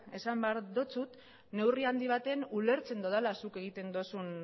esan behar dizut neurri handi baten ulertzen dudala zuk egiten duzun